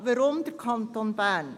Warum der Kanton Bern?